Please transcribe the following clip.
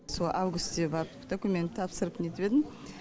сол августьте барып документ тапсырып нетіп едім